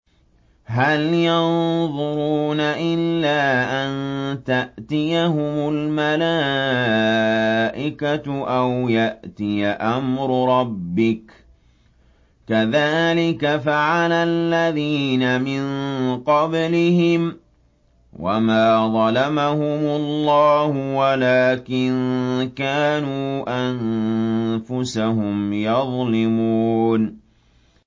هَلْ يَنظُرُونَ إِلَّا أَن تَأْتِيَهُمُ الْمَلَائِكَةُ أَوْ يَأْتِيَ أَمْرُ رَبِّكَ ۚ كَذَٰلِكَ فَعَلَ الَّذِينَ مِن قَبْلِهِمْ ۚ وَمَا ظَلَمَهُمُ اللَّهُ وَلَٰكِن كَانُوا أَنفُسَهُمْ يَظْلِمُونَ